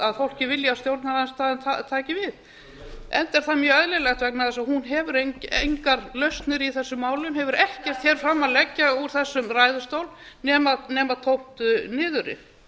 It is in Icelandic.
að fólkið vilji að stjórnarandstaðan taki við enda er það mjög eðlilegt vegna þess að hún hefur engar lausnir í þessum málum hefur ekkert hér fram að leggja úr þessum ræðustól nema tómt niðurrif